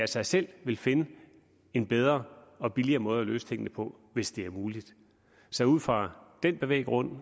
sig selv finde en bedre og billigere måde at løse tingene på hvis det er muligt så ud fra den bevæggrund